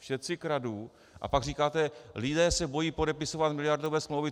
všetci kradnú! a pak říkáte: lidé se bojí podepisovat miliardové smlouvy.